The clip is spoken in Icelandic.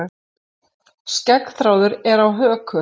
Skeggþráður er á höku.